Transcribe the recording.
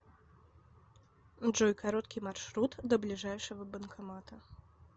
джой короткий маршрут до ближайшего банкомата